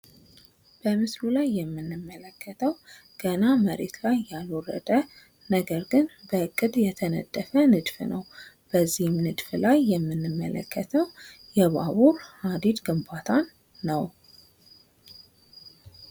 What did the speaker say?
በምስሉ ላይ የምንመለከተው ገና መሬት ላይ ያልወረደ በእቅድ የተነደፈ ንድፍ ነው። በዚህም ንድፍ ላይ የምንመለከተው የባቡር ሀዲድ ግንባታ ነው።